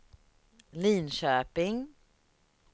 Linköping